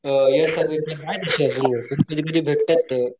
अ कधी कधी भेटतात ते.